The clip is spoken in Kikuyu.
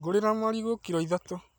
Njũrĩria marigũkiro ithatũ